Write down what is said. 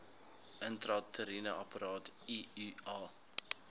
intrauteriene apparaat iua